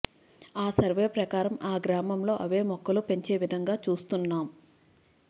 ఆ సర్వే ప్రకారం ఆ గ్రామంలో అవే మొక్కలు పెంచే విధంగా చూస్తున్నాం